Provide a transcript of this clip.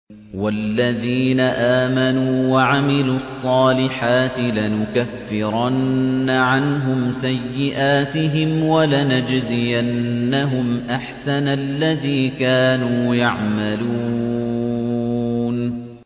وَالَّذِينَ آمَنُوا وَعَمِلُوا الصَّالِحَاتِ لَنُكَفِّرَنَّ عَنْهُمْ سَيِّئَاتِهِمْ وَلَنَجْزِيَنَّهُمْ أَحْسَنَ الَّذِي كَانُوا يَعْمَلُونَ